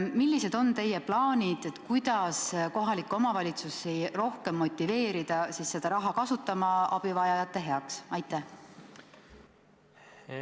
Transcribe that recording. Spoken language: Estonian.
Millised on teie plaanid, kuidas kohalikke omavalitsusi rohkem motiveerida seda raha abivajajate heaks kasutama?